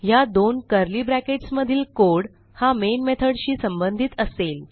ह्या दोन curly brackets मधील कोड हा मेन methodशी संबंधित असेल